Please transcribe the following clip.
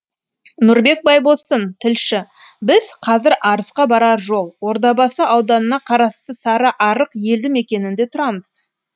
нұрбек байбосын тілші біз қазір арысқа барар жол ордабасы ауданына қарасты сарыарық елді мекенінде тұрмыз